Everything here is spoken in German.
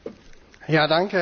Herr Präsident!